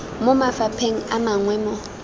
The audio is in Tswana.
mo mafapheng a mangwe mo